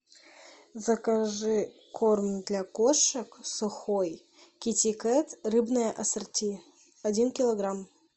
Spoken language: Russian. закажи корм для кошек сухой китикет рыбное ассорти один килограмм